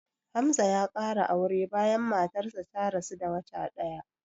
Hamza ya ƙara aure bayan matarsa ta rasu da wata ɗaya